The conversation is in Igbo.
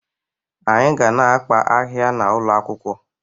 Anyị ga na-akpa ahịhịa n'ụlọ akwụkwọ